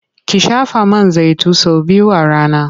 Ki shafa man zaitin sau biyu a rana.